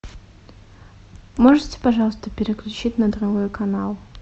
можете пожалуйста переключить на другой канал